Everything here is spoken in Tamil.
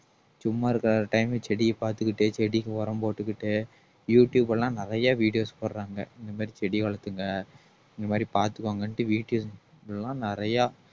சும்மா இருக்கிற time செடியை பார்த்துக்கிட்டு செடிக்கு உரம் போட்டுக்கிட்டு யூடுயூப் எல்லாம் நிறைய videos போடுறாங்க இந்த மாதிரி செடி வளர்த்துக்கங்க இந்த மாதிரி பார்த்துக்கோங்கன்னுட்டு வீட்ல எல்லாம் நிறைய